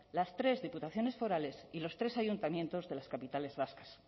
las tres diputaciones forales y los tres ayuntamientos de las capitales vascas